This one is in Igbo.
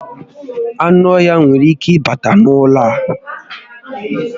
Ánụ́ ọhịa nwèrè ike ịbata n'ụlọ a